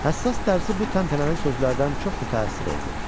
Həssas dərzi bu təntənəli sözlərdən çox mütəəssir oldu.